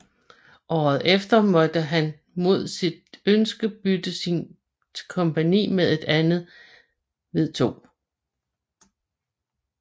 Året efter måtte han mod sit ønske bytte sit kompagni med et andet ved 2